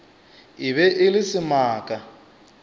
e be e le semaka